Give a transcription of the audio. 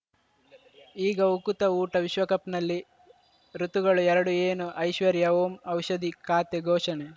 ಈಗ ಉಕುತ ಊಟ ವಿಶ್ವಕಪ್‌ನಲ್ಲಿ ಋತುಗಳು ಎರಡು ಏನು ಐಶ್ವರ್ಯಾ ಓಂ ಔಷಧಿ ಖಾತೆ ಘೋಷಣೆ